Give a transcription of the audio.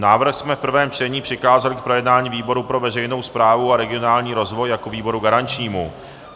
Návrh jsme v prvém čtení přikázali k projednání výboru pro veřejnou správu a regionální rozvoj jako výboru garančnímu.